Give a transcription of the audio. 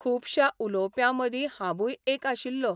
खुबश्या उलोवप्यां मदीं हांबूंय एक आशिल्लों.